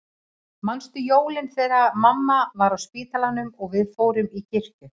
Manstu jólin þegar mamma var á spítalanum og við fórum í kirkju?